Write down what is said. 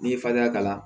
N'i ye fadenya k'a la